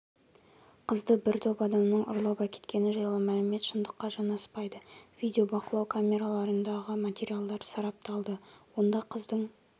қызды бір топ адамның ұрлап әкеткені жайлы мәлімет шындыққа жанаспайды видеобақылау камераларындағы материалдар сарапталды онда қыздың